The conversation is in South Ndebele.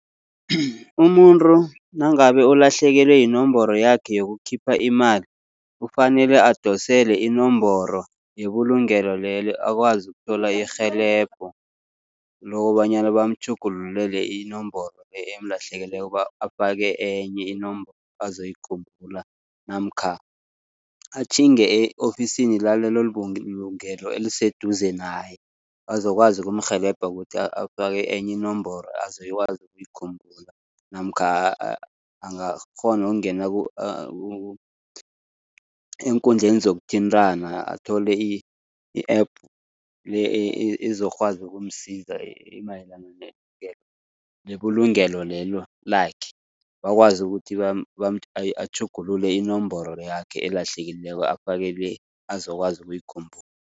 Umuntu nangabe ulahlekelwe yinomboro yakhe yokukhipha imali, kufanele adosele inomboro yebulungelo lelo akwazi ukuthola irhelebho, lokobanyana bamtjhugululele inomboro emlahlekeleko afake enye inomboro azoyikhumbula. Namkha atjhinge e-ofisini lalelo bulungelo eliseduze naye, bazokwazi ukumrhelebha ukuthi afake enye inomboro azokwazi ukuyikhumbula. Namkha angakghona ukungena eenkundleni zokuthintana athole i-app le ezokwazi ukumsiza imayelana nebulungelo lelo lakhe. Bakwazi ukuthi atjhugulule inomboro yakhe elahlekileko, afake le azokwazi ukuyikhumbula.